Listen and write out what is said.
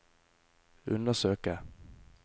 undersøke